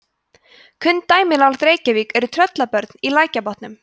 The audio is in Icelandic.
kunn dæmi nálægt reykjavík eru tröllabörn í lækjarbotnum